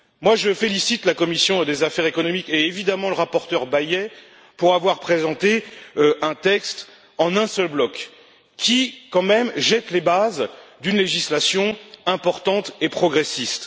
Je félicite la commission des affaires économiques et évidemment le rapporteur Bayet d'avoir présenté un texte en un seul bloc qui, quand même, jette les bases d'une législation importante et progressiste.